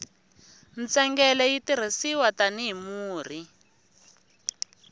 ntsengele yi tirhisiwa tani hi murhi